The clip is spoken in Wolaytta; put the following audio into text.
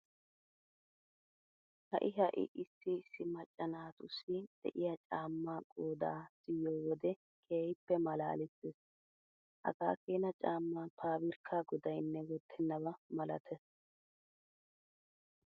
Ha"i ha"i issi issi macca naatussi de'iya caammaa qoodaa siyyo wode keehippe maalaalissees. Hagaa keena caammaa paabirkkaa godaynne wottennaba malatees.